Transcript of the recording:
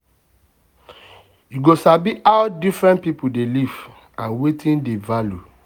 you go sabi how different people dey live and wetin dem value.